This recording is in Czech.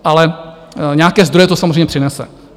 Ale nějaké zdroje to samozřejmě přinese.